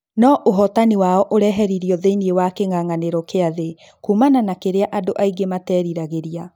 No ũhotani wao ũreheririo thĩinĩ wa kĩng'ang'anĩro kĩa thĩĩ kuumana na kĩrĩa andũ aingĩ mateeriragĩria.